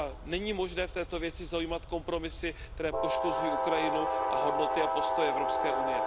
Není možné v této věci zaujímat kompromisy, které poškozují Ukrajinu a hodnoty a postoje EU.